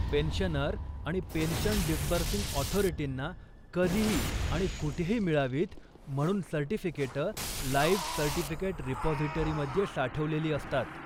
Pensioner आणि pension disbursing अथॉरिटींना कधीही आणि कुठेही मिळावीत म्हणून सर्टिफिकेटं लाईफ सर्टिफिकेट रिपाॅझिटरीमध्ये साठवलेली असतात.